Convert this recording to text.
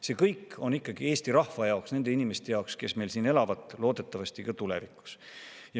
See kõik on ikkagi Eesti rahva jaoks – nende inimeste jaoks, kes meil siin elavad, loodetavasti ka tulevikus.